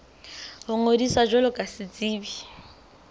ho ngodisa jwalo ka setsebi